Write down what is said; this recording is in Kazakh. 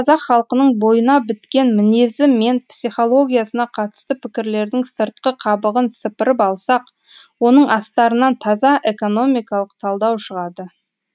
қазақ халқының бойына біткен мінезі мен психологиясына қатысты пікірлердің сыртқы қабығын сыпырып алсақ оның астарынан таза экономикалық талдау шығады